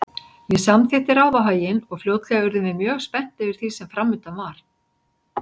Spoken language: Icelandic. Ég samþykkti ráðahaginn og fljótlega urðum við mjög spennt yfir því sem framundan var.